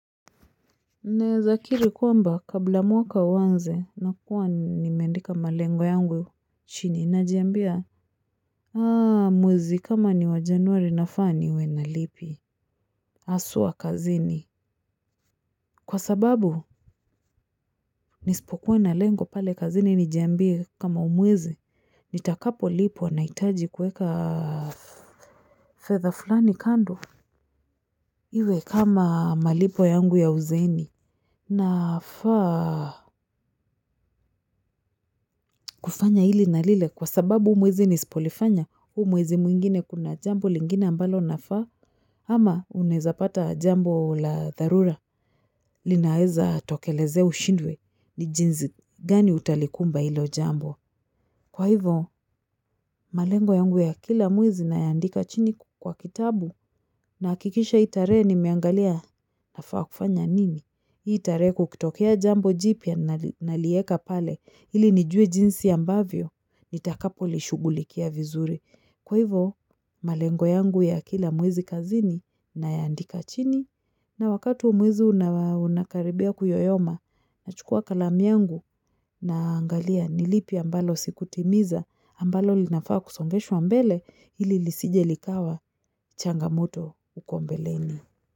Naezakiri kwamba kabla mwaka uwanze nakuwa nimeandika malengo yangu chini najiambia? Mwezi kama ni wa januari nafaa niwe na lipi aswa kazini kwa sababu nisipokuwa na lengo pale kazini nijiambie kama hu mwezi nitakapo lipwa naitaji kuweka fedha fulani kando iwe kama malipo yangu ya uzeeni. Nafaa kufanya hili na lile kwa sababu huu mwezi nispolifanya, huu mwezi mwingine kuna jambo lingine ambalo nafaa ama unaeza pata jambo la dharura linaeza tokelezea ushindwe ni jinzi gani utalikumba hilo jambo. Kwa hivo, malengo yangu ya kila mwezi nayaandika chini kwa kitabu naakikisha hi tarehe nimeangalia nafaa kufanya nini. Itarehe kukitokea jambo jipia nalieka pale ili nijue jinsi ambavyo nitakapo lishugulikia vizuri. Kwa hivo malengo yangu ya kila mwezi kazini na yaandika chini na wakati mwezi unakaribia kuyoyoma na chukua kalamu yangu naangalia nilipi ambalo sikutimiza ambalo linafaa kusongeshwa mbele ili lisijelikawa changamoto uko mbeleni.